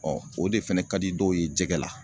o de fɛnɛ ka di dɔw ye jɛgɛ la.